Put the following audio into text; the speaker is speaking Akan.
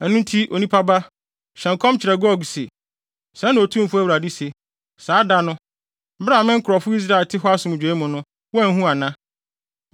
“Ɛno nti, onipa ba, hyɛ nkɔm kyerɛ Gog se, ‘Sɛɛ na Otumfo Awurade se: Saa da no, bere a me nkurɔfo Israelfo te hɔ asomdwoe mu no, woanhu ana?